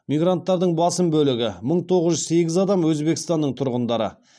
мигранттардың басым бөлігі мың тоғыз жүз сегіз адам өзбекстанның тұрғындары